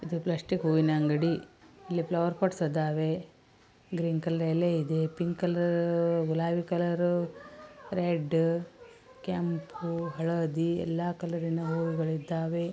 ಇದು ಪ್ಲಾಸ್ಟಿಕ್ ಹೂವಿನ ಅಂಗಡಿ. ಇಲ್ಲಿ ಫ್ಲೋರ್ ಪೊಟ್ಸ್ ಅದವೇ ಗ್ರೀನ್ ಕಲರ್ ಎಲೆ ಇದೆ ಪಿಂಕ್ ಕಲರು ಗುಲಾಬಿ ಕಲರು ರೆಡ್ ಕೆಂಪ್ಪು ಹಳದಿ ಎಲ್ಲ ಕಲರ್ ರಿನ ಹೂಗಳು ಇದ್ದವೇ.